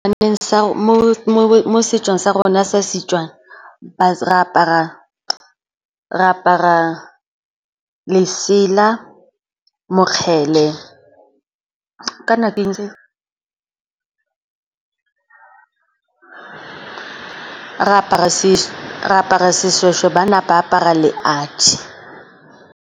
Mo setsong sa rona sa Setswana re apara lesela, mokgele, ka na ke eng se? Re apara seshweshwe banna ba apara leadi.